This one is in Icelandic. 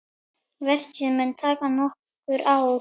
Verkið mun taka nokkur ár.